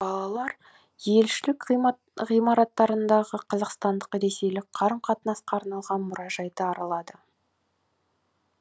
балалар елшілік ғимаратындағы қазақстандық ресейлік қарым қатынасқа арналған мұражайды аралады